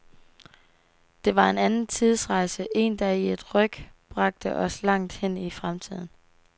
Det var en anden tidsrejse, en der i et ryk bragte os langt hen i fremtiden.